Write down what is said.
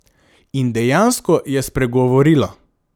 In dejansko je spregovorila.